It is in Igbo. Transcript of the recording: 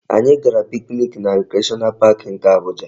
Anyị gara picnic na Recreational Park nke Abuja